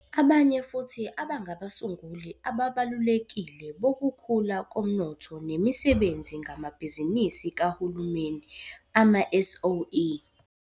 Abanye futhi abangabasunguli ababalulekile bokukhula komnotho nemisebenzi ngamabhizinisi kahulumeni, ama-SOE.